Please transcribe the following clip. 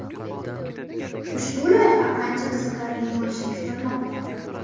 Ushbu loyiha ancha qiziqarli bo‘lishi kutilmoqda.